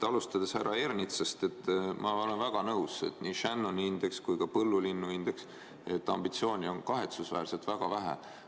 Alustades härra Ernitsast: ma olen väga nõus, et nii Shannoni indeks kui ka põllulinnuindeks – ambitsiooni on kahetsusväärselt väga vähe.